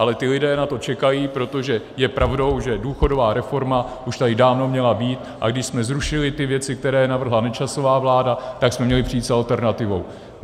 Ale ti lidé na to čekají, protože je pravdou, že důchodová reforma už tady dávno měla být, a když jsme zrušili ty věci, které navrhla Nečasova vláda, tak jsme měli přijít s alternativou.